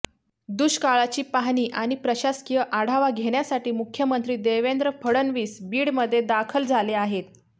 दुष्काळाची पाहणी आणि प्रशासकीय आढावा घेण्यासाठी मुख्यमंत्री देवेंद्र फडणवीस बीड मध्ये दाखल झाले आहेत